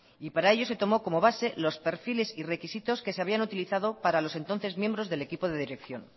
y para ello se tomó como base los perfiles y requisitos que se habían utilizado para los entonces miembros del equipo de dirección